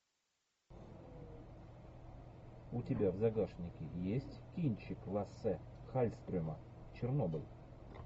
у тебя в загашнике есть кинчик лассе хальстрема чернобыль